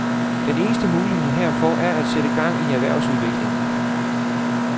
Den eneste mulighed herfor er at sætte gang i erhvervsudviklingen.